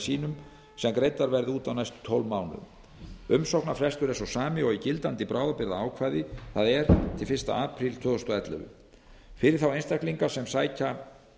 sínum sem greiddar verði út á næstu tólf mánuðum umsóknarfrestur er sá sami og í gildandi bráðabirgðaákvæði það er til fyrsta apríl tvö þúsund og ellefu fyrir þá einstaklinga sem sækja